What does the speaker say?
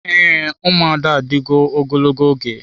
Ee, ụmụada adịwo ogologo oge.